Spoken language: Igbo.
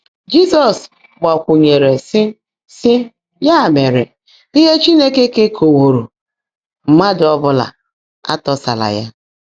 Jị́zọ́s gbákwụ́nyèèrè, sị́: sị́: “Yá mèrè, íhe Chínekè keèkọ́táwóró, mmádụ́ ọ́ bụ́lá átọ́sála yá.”